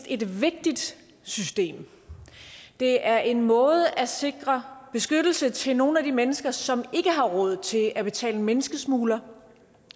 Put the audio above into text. et vigtigt system det er en måde at sikre beskyttelse til nogle af de mennesker som ikke har råd til at betale menneskesmuglere